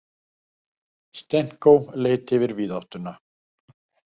Stenko leit yfir víðáttuna.